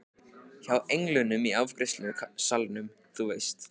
Hjá englinum í afgreiðslusalnum, þú veist.